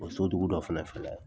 O so dugu dɔ fɛnɛ filɛ